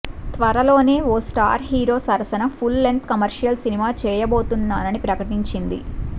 త్వరలోనే ఓ star hero సరసన ఫుల్ లెంగ్త్ కమర్షియల్ సినిమా చేయబోతున్నానని ప్రకటించింది